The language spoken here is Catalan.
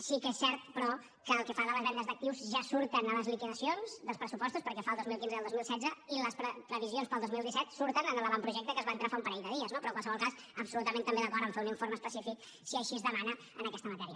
sí que és cert però que el que fa de les vendes d’actius ja surten a les liquidacions dels pressupostos pel que fa al dos mil quinze i al dos mil setze i les previsions per al dos mil disset surten en l’avantprojecte que ens va entrar fa un parell de dies no però en qualsevol cas absolutament també d’acord a fer un informe específic si així es demana en aquesta matèria